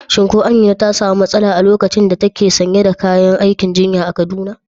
Shin ko Amina ta samu matsala a lokacin da take sanye da kayan aikin jinya a Kaduna?